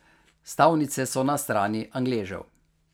Stavnice so na strani Angležev.